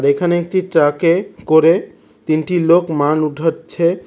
এখানে একটি ট্রাক -এ করে তিনটি লোক মাল উঠোচ্ছে।